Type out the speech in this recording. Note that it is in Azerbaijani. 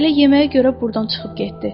Elə yeməyə görə burdan çıxıb getdi.